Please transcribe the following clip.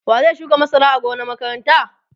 wa zai shuka masara a gonan makaranta?